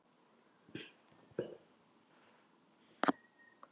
Svenni sér allt í einu leik á borði.